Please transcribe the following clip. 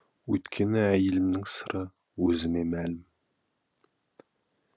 өйткені әйелімнің сыры өзіме мәлім